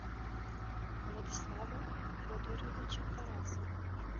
владислава федоровича тарасова